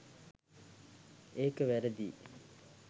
ඒක වැරදියි.